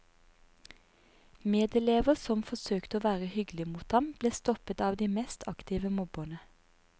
Medelever som forsøkte å være hyggelige mot ham, ble stoppet av de mest aktive mobberne.